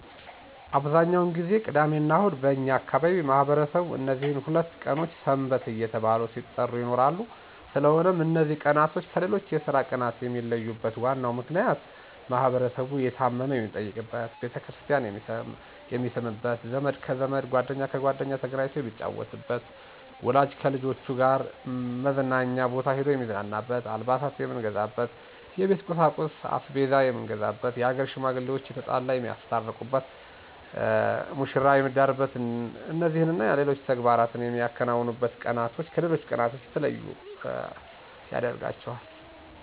አብዛኛውን ጊዜ ቅዳሚና እሁድ በእኛ አካባቢ ማህበረሰቡ እነዚህ ሁለት ቀኖች ሰንበት እየተባሉ ሲጠሩ ይኖራሉ ስለሆነም እነዚ ቀናቶች ከሌሎች የስራ ቀናት የሚለዩበት ዋናው ምክንያት ማህበረሰቡ የታመመ የሚጠይቅበት፣ ቤተክርስቲያን የሚስምበት፣ ዘመድ ከዘመድ ጓደኛ ከጓደኛ ተገናኝቶ የሚጫወትበት፣ ወላጅ ከልጆች ጋር መዝናኛ ቦታ ሂዶ የሚዝናናበት፣ አልባሳት የምንገዛበት፣ የቤት ቁሳቁስ(አስቤዛ የምንገዛበት)የሀገር ሽማግሌዋች የተጣላ የሚያስታርቁበት፣ መሽራ የሚዳርበት እነዚህና ሌሎች ተግባራት የምናከናውንባቸው ቀናቶች ከሌሎች ቀናቶች የተለዩ ያደርጋቸዋል።